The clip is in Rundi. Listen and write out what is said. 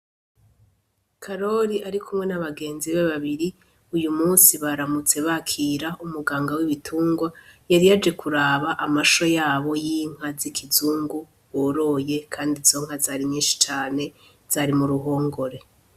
Karori ari kumwe na begenzi biwe babiri, uyu munsi baramutse bakira umuganga w'ibitungwa yari yaje kuraba amasho yabo y'inka z'ikizungu boroye kandi izo nka zari nyinshi cane, zari mu ruhongore.